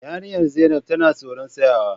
Yarinyar zainab tana tsoron tsayawa.